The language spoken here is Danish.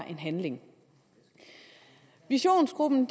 en handling visionsgruppen